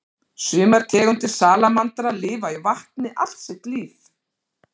Sumar tegundir salamandra lifa í vatni allt sitt líf.